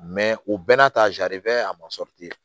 o bɛɛ n'a ta a ma